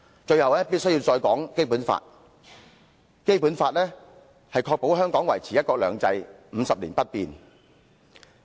最後，我必須談談《基本法》，它確保香港維持"一國兩制 "50 年不變。